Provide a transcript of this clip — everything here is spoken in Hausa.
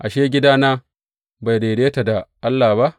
Ashe, gidana bai daidaita da Allah ba?